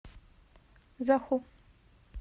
заху